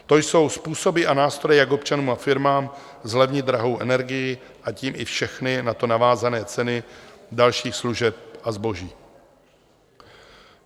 To jsou způsoby a nástroje, jak občanům a firmám zlevnit drahou energii a tím i všechny na to navázané ceny dalších služeb a zboží.